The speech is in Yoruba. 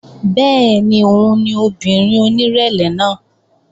Bẹ́ẹ̀ni òun ni obìnrin onírẹ̀lẹ̀ náà